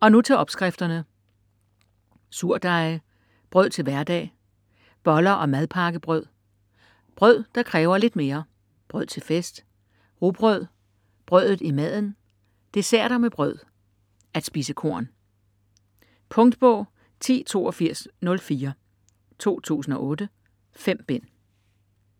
Og nu til opskrifterne; Surdeje; Brød til hverdag; Boller og madpakkebrød; Brød der kræver lidt mere; Brød til fest; Rugbrød; Brødet i maden; Desserter med brød; At spise korn. Punktbog 108204 2008. 5 bind.